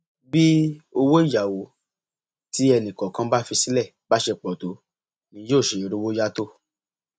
bí owó ìyàwó tí ẹnìkọọkan bá fi sílẹ bá ṣe pọ tó ni yóò ṣe rówó yá tó